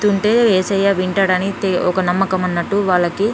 తింటే ఏసయ్య వింటాడని ఒక నమ్మకం ఉన్నట్టు వాళ్ళకి.